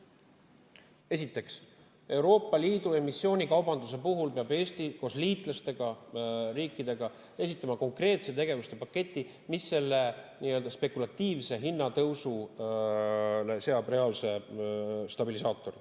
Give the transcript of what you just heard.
Esiteks, Euroopa Liidu emissioonikaubanduse puhul peab Eesti koos liitlasriikidega esitama konkreetse tegevuspaketti, mis sellele nii-öelda spekulatiivsele hinnatõusule seab reaalse stabilisaatori.